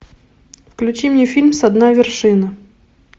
включи мне фильм со дна вершины